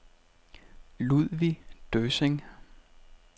Ludvig Døssing